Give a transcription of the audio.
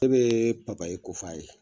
Ne bɛ papaye ko f''a ye.